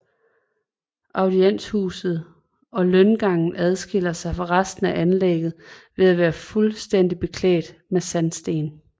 Audienshuset og løngangen adskiller sig fra resten af anlægget ved at være fuldstændigt beklædt med sandsten